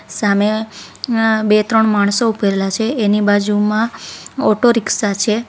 સામે અ બે-ત્રણ માણસો ઉભેલા છે એની બાજુમાં ઓટોરિક્ષા છે.